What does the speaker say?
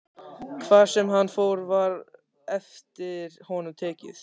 Hvar sem hann fór var eftir honum tekið.